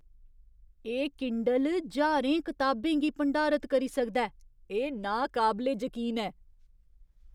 एह् किंडल ज्हारें कताबें गी भंडारत करी सकदा ऐ। एह् नाकाबले जकीन ऐ!